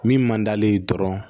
Min man d'ale ye dɔrɔn